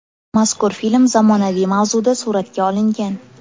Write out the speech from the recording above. Mazkur film zamonaviy mavzuda suratga olingan.